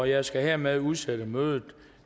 jeg skal hermed udsætte mødet